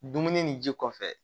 Dumuni ni ji kɔfɛ